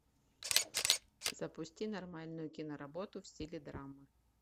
запусти нормальную киноработу в стиле драма